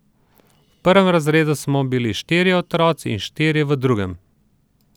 V prvem razredu smo bili štirje otroci in štirje v drugem.